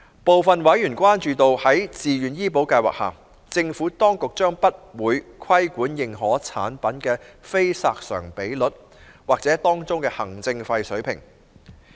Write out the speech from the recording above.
部分委員關注到，在自願醫保計劃下，政府當局將不會規管認可產品的非索償比率或當中的行政費水平。